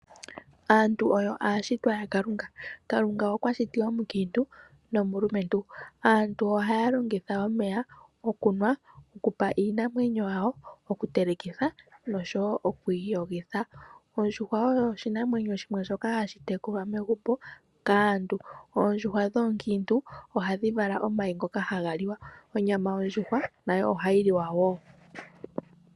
Aantu oyo aashitwa ya Kalunga, Kalunga okwa shiti omukiintu nomulumentu. Aantu ohaya longitha omeya okunwa, okupa iinamwenyo yawo, oku telekitha nosho wo okwiiyogitha. Ondjuhwa oyo oshinamwenyo shimwe shoka hashi tekulwa megumbo, kaantu. Oondjuhwa dhoonkiintu ohadhi vala omayi ngoka haga liwa. Onyama yondjuhwa nayo ohayi liwa woo.